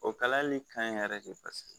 O kalali kaɲi yɛrɛ ye paseke